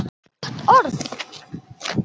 Gott orð.